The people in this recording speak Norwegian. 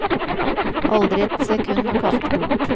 Aldri et sekund å kaste bort.